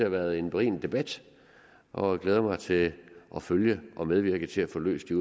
været en berigende debat og jeg glæder mig til at følge den og medvirke til at få løst de